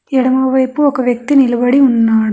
ఎడమవైపు ఒక వ్యక్తి నిలబడి ఉన్నాడు.